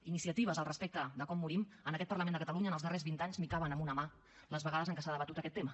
iniciatives al respecte de com morim en aquest parlament de catalunya en els darrers vint anys caben en una mà les vegades en què s’ha debatut aquest tema